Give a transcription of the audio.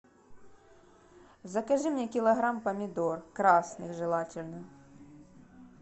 закажи мне килограмм помидор красных желательно